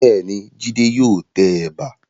Bẹ́ẹ̀ni, Jídé yóò tẹ ẹ̀bà.